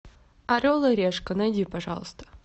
орел и решка найди пожалуйста